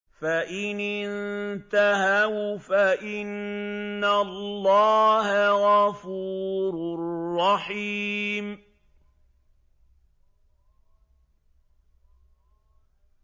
فَإِنِ انتَهَوْا فَإِنَّ اللَّهَ غَفُورٌ رَّحِيمٌ